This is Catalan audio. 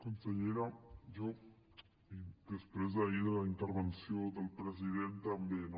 consellera jo després d’ahir de la intervenció del president també no